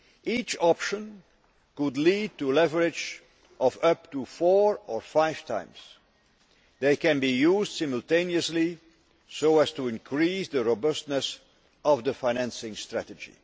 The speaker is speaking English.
Each option could lead to leverage of up to four or five times. They can be used simultaneously, so as to increase the robustness of the financing strategy.